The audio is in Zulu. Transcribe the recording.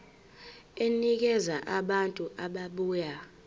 enikeza abantu ababuya